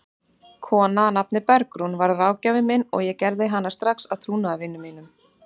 Kona að nafni Bergrún varð ráðgjafinn minn og ég gerði hana strax að trúnaðarvini mínum.